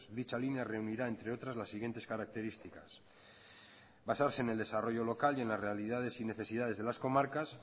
dicha línea reunirá entre otras las siguientes características basarse en el desarrollo local y en las realidades y necesidades de las comarcas